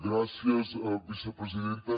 gràcies vicepresidenta